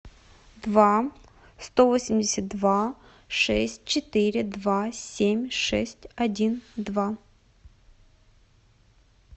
два сто восемьдесят два шесть четыре два семь шесть один два